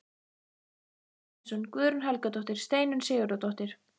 Guðmundur Steinsson, Guðrún Helgadóttir, Steinunn Sigurðardóttir